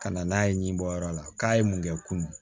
Ka na n'a ye nin bɔyɔrɔ la k'a ye mun kɛ kun